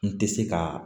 N tɛ se ka